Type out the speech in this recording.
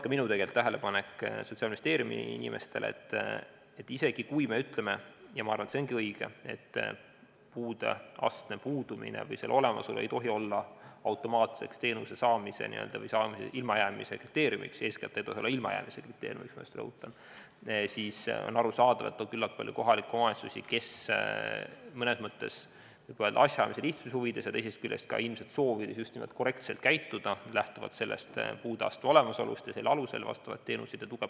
Ka minu tähelepanek Sotsiaalministeeriumi inimestele on olnud see, et isegi kui me ütleme – ja ma arvan, et see ongi õige –, et puudeastme puudumine või selle olemasolu ei tohi olla automaatseks teenuse saamise või sellest ilmajäämise kriteeriumiks – eeskätt ei saa see olla ilmajäämise kriteeriumiks, ma rõhutan –, siis on arusaadav, et üsna paljud kohalikud omavalitsused, kes mõnes mõttes asjaajamise lihtsuse huvides ja teisest küljest ka ilmselt soovist korrektselt käituda, lähtuvad puudeastme olemasolust ning pakuvad just selle alusel vastavaid teenuseid ja tuge.